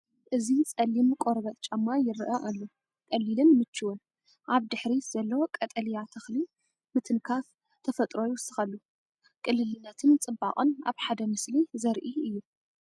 እዚ ጸሊም ቆርበት ጫማ ይረአ ኣሎ። ቀሊልን ምቹእን! ኣብ ድሕሪት ዘሎ ቀጠልያ ተኽሊ ምትንኻፍ ተፈጥሮ ይውስኸሉ። ቅልልነትን ጽባቐን ኣብ ሓደ ምስሊ ዘርኢ እዩ።